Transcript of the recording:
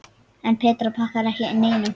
En Petra þakkar ekki neinum.